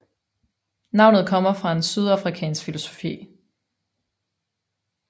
Navnet kommer fra en sydafrikansk filosofi